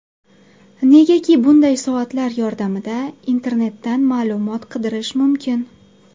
Negaki bunday soatlar yordamida internetdan ma’lumot qidirish mumkin.